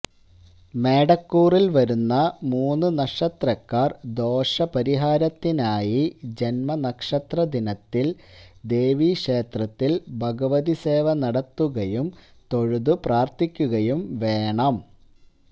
മേടക്കൂറില് വരുന്ന മൂന്ന് നക്ഷത്രക്കാര് ദോഷപരിഹാരത്തിനായി ജന്മനക്ഷത്ര ദിനത്തില് ദേവീ ക്ഷേത്രത്തില് ഭഗവതി സേവ നടത്തുകയും തൊഴുതു പ്രാര്ഥിക്കുകയും വേണം